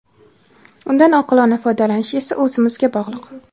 Undan oqilona foydalanish esa o‘zimizga bog‘liq.